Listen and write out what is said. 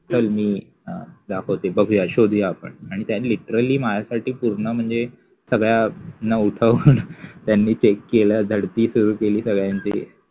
चल मि दाखवते बघ हि शोधुया आपन आणि त्या लिटरलि माझ्यासठि पुर्ण म्हनजे सगळ्याना उठवुन त्यानि चेक केल, झळति सुरु केलि सहळयांचि